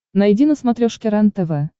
найди на смотрешке рентв